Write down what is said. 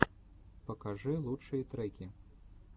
покажи лучшие треки